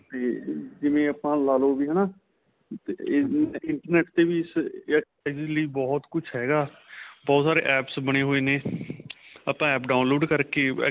ਤੇ ਜਿਵੇਂ ਆਪਾਂ ਲਾਲੋ ਵੀ ਹੈਨਾ internet ਵੀ ਇਸ ਜਾਂ ਇਹਦੇ ਲਈ ਬਹੁਤ ਕੁੱਛ ਹੈਗਾ ਬਹੁਤ ਸਾਰੇ AAPS ਬਣੇ ਹੋਏ ਨੇ ਆਪਾਂ APP download ਕਰਕੇ